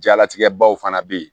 Jalatigɛ baw fana bɛ yen